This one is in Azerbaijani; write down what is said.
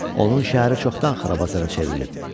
Onun şəhəri çoxdan xarabazara çevrilib.